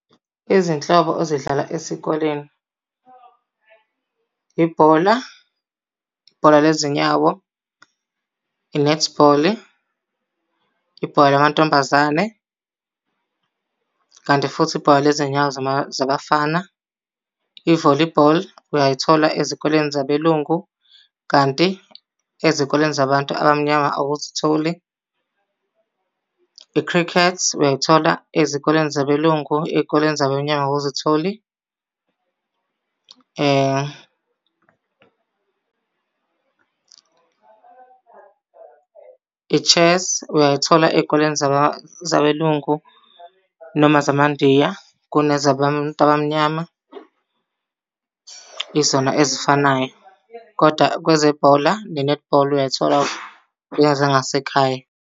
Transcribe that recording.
Izinhlobo ezidlalwa esikoleni. Ibhola, ibhola le zinyawo, i-netball, ibhola lamantombazane. Kanti futhi ibhola lezinyawo zabafana, i-volleyball, uyayithola ezikoleni zabelungu, kanti ezikoleni zabantu abamnyama awuzitholi. Ikhrikhethi uyayithola ezikoleni zabelungu ey'koleni zabamnyama awuzitholi. I-chess uyayithola ey'koleni zabelungu noma namandiya, kunezabantu abamnyama. Izona ezifanayo, kodwa kwezebhola ne-netball uyay'thola kulezi zangasekhaya.